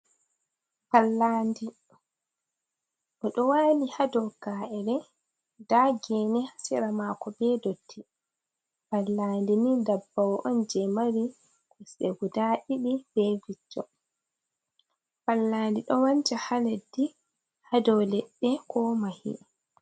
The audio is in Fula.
Pallandi! Ndi ɗo waali haa dow ka’ere. Nda geene haa sera maako bee dotti. Pallandi ni ndabbawo on jee mari kosɗe gudaa ɗiɗi, bee wiccho. Pallandi ɗo wancha haa leddi, haa dow leɗɗe ko mahi.